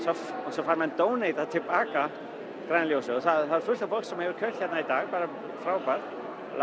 svo fær maður donatað til baka græna ljósið það er fullt af fólki sem hefur keypt hérna í dag það er frábært